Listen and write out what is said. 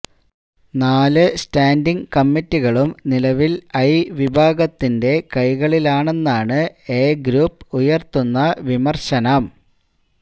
നാല് സ്റ്റാന്ഡിങ് കമ്മിറ്റികളും നിലവില് ഐ വിഭാഗത്തിന്റെ കൈകളിലാണെന്നാണ് എ ഗ്രൂപ്പ് ഉയര്ത്തുന്ന വിമര്ശനം